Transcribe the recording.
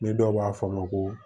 Ni dɔw b'a fɔ a ma ko